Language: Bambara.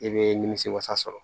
I bɛ nimisi wasa sɔrɔ